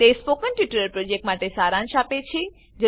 તે spoken tutorial પ્રોજેક્ટનો સારાંશ આપે છે